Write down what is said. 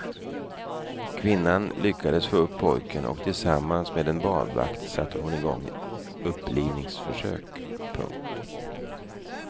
Kvinnan lyckades få upp pojken och tillsammans med en badvakt satte hon igång upplivningsförsök. punkt